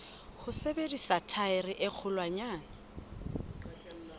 ho sebedisa thaere e kgolwanyane